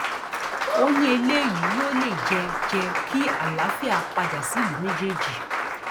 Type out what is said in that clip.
ó ní eléyìí yóò lè jẹ jẹ kí àlàáfíà padà sílùú méjèèjì